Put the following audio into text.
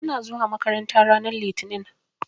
Ina zuwa makaranta ranar Litinin.